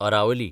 Aravalli